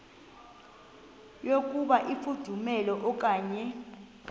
yokuba ifudumele okanye